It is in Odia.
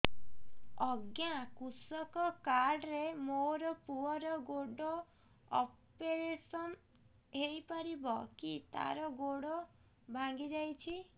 ଅଜ୍ଞା କୃଷକ କାର୍ଡ ରେ ମୋର ପୁଅର ଗୋଡ ଅପେରସନ ହୋଇପାରିବ କି ତାର ଗୋଡ ଭାଙ୍ଗି ଯାଇଛ